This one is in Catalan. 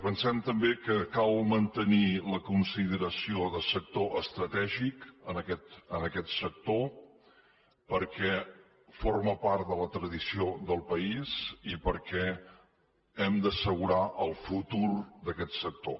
pensem també que cal mantenir la consideració de sector estratègic a aquest sector perquè forma part de la tradició del país i perquè hem d’assegurar el futur d’aquest sector